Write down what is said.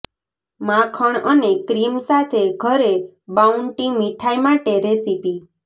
માખણ અને ક્રીમ સાથે ઘરે બાઉન્ટિ મીઠાઈ માટે રેસીપી